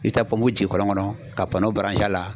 I bɛ taa ji kɔlɔn kɔnɔ ka a la.